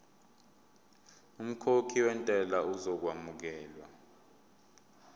umkhokhi wentela uzokwamukelwa